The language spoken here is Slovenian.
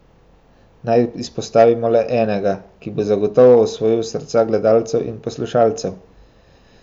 Naj izpostavimo le enega, ki bo zagotovo osvojil srca gledalcev in poslušalcev.